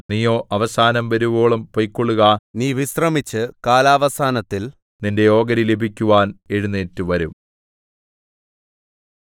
നീയോ അവസാനം വരുവോളം പൊയ്ക്കൊള്ളുക നീ വിശ്രമിച്ച് കാലാവസാനത്തിൽ നിന്റെ ഓഹരി ലഭിക്കുവാൻ എഴുന്നേറ്റുവരും